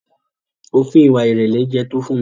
Òfin ìwà ìrẹ̀lẹ̀ yé Tofunmi.